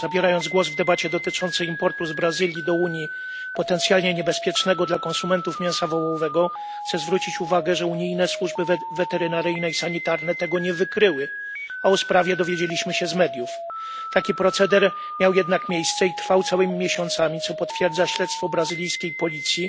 Zabierając głos w debacie dotyczącej importu z Brazylii do Unii potencjalnie niebezpiecznego dla konsumentów mięsa wołowego chcę zwrócić uwagę, że unijne służby weterynaryjne i sanitarne tego nie wykryły, a o sprawie dowiedzieliśmy się z mediów. Taki proceder miał jednak miejsce i trwał całymi miesiącami, co potwierdza śledztwo brazylijskiej policji,